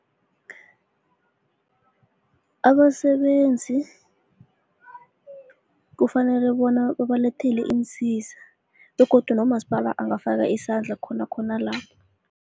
Abasebenzi kufanele bona ubalethele iinsiza begodu nomasipala angafaka isandla khona khona lapho.